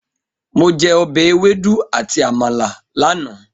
Mo jẹ ọbẹ̀ ewédú àti Àmàlà lánàá.